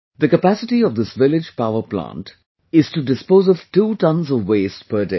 The capacity of this village power plant is to dispose of two tonnes of waste per day